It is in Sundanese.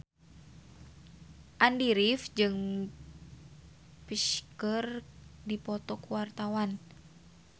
Andy rif jeung Psy keur dipoto ku wartawan